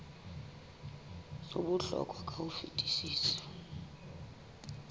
ho bohlokwa ka ho fetisisa